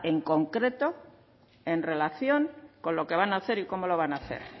en concreto en relación con lo que van a hacer y cómo lo van a hacer